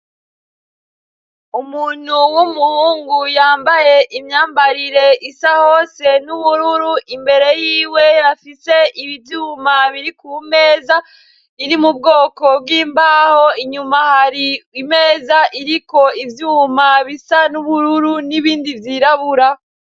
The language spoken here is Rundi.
Umuntu w'umuhungu yambaye imyambarire isa hose n'ubururu imbere yiwe afise ibivyuma biri ku meza iri mubwoko bw'imbaho, inyuma hari imeza iriko ivyuma bisa n'ubururu n'ibindi vyirabura.